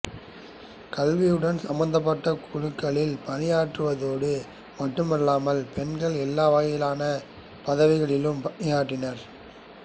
கல்வியுடன் சம்பந்தப்பட்ட குழுக்களில் பணியாற்றுவதோடு மட்டுமல்லாமல் பெண்கள் எல்லா வகையான பதவிகளிலும் பணியாற்றினர்